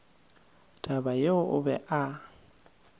taba yeo o be a